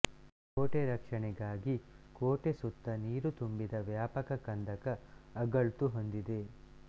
ಕೋಟೆ ರಕ್ಷಣೆಗಾಗಿ ಕೋಟೆ ಸುತ್ತ ನೀರು ತುಂಬಿದ ವ್ಯಾಪಕ ಕಂದಕ ಅಗಳ್ತು ಹೊಂದಿದೆ